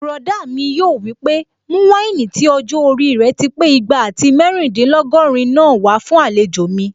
Bùrọ̀dá mi yóò wí pé "mú wáìnì tí ọjọ́-orí rẹ̀ ti pé igba àti mẹ́rìndínlógọ́rin náà wá fún àlejò mi"